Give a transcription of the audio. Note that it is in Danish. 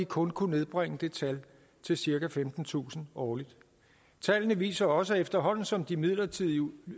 kun kunne nedbringe det tal til cirka femtentusind årligt tallene viser også at efterhånden som de midlertidige